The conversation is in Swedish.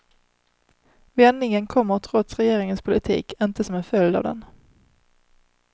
Vändningen kommer trots regeringens politik, inte som en följd av den.